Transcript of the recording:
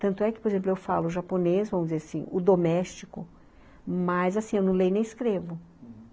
Tanto é que, por exemplo, eu falo japonês, vamos dizer assim, o doméstico, mas, assim, eu não leio nem escrevo, uhum.